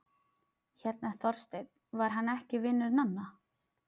Hérna Þorsteinn, var hann ekki vinur Nonna?